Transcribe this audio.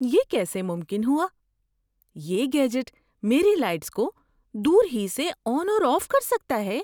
یہ کیسے ممکن ہوا! یہ گیجٹ میری لائٹس کو دور ہی سے آن اور آف کر سکتا ہے؟